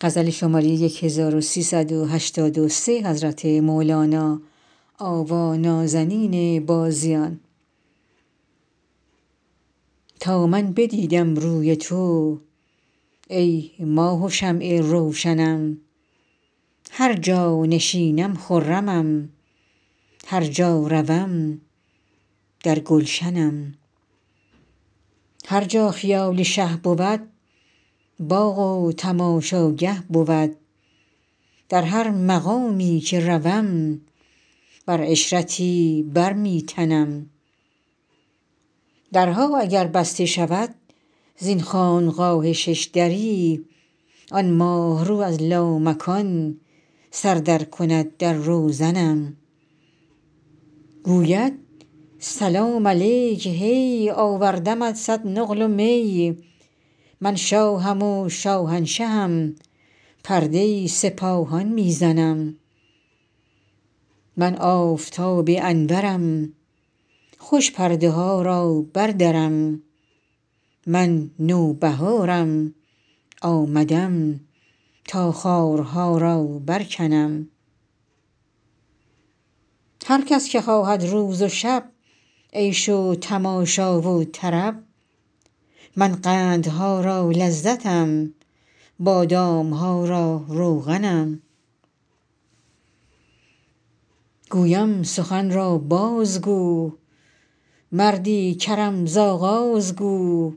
تا من بدیدم روی تو ای ماه و شمع روشنم هر جا نشینم خرمم هر جا روم در گلشنم هر جا خیال شه بود باغ و تماشاگه بود در هر مقامی که روم بر عشرتی بر می تنم درها اگر بسته شود زین خانقاه شش دری آن ماه رو از لامکان سر درکند در روزنم گوید سلام علیک هی آوردمت صد نقل و می من شاهم و شاهنشهم پرده سپاهان می زنم من آفتاب انورم خوش پرده ها را بردرم من نوبهارم آمدم تا خارها را برکنم هر کس که خواهد روز و شب عیش و تماشا و طرب من قندها را لذتم بادام ها را روغنم گویم سخن را بازگو مردی کرم ز آغاز گو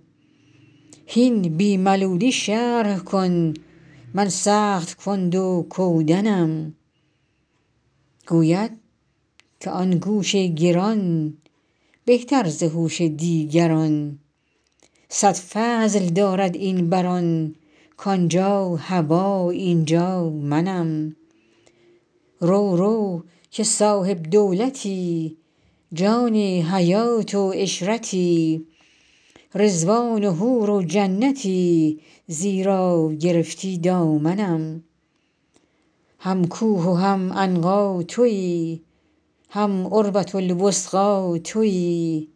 هین بی ملولی شرح کن من سخت کند و کودنم گوید که آن گوش گران بهتر ز هوش دیگران صد فضل دارد این بر آن کان جا هوا این جا منم رو رو که صاحب دولتی جان حیات و عشرتی رضوان و حور و جنتی زیرا گرفتی دامنم هم کوه و هم عنقا توی هم عروه الوثقی توی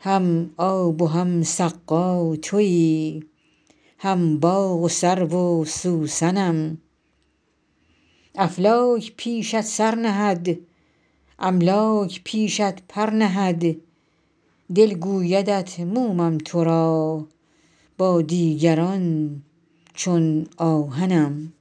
هم آب و هم سقا توی هم باغ و سرو و سوسنم افلاک پیشت سر نهد املاک پیشت پر نهد دل گویدت مومم تو را با دیگران چون آهنم